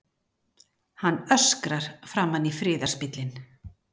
Hann öskrar framan í friðarspillinn.